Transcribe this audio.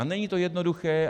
A není to jednoduché.